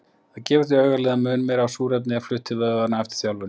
Það gefur því augaleið að mun meira af súrefni er flutt til vöðvanna eftir þjálfun.